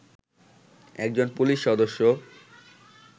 একজন পুলিশ সদস্য